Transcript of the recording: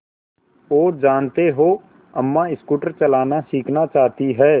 और जानते हो अम्मा स्कूटर चलाना सीखना चाहती हैं